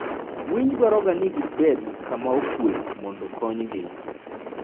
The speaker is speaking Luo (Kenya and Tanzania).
Winy dwaroga ni gibed gi kama okuwe mondo okonygi.